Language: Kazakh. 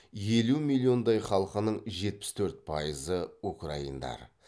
елу миллиондай халқының жетпіс төрт пайызы украиндар